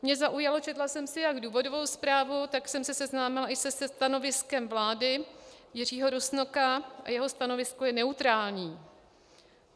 Mne zaujalo, četla jsem si jak důvodovou zprávu, tak jsem se seznámila i se stanoviskem vlády Jiřího Rusnoka, a její stanovisko je neutrální.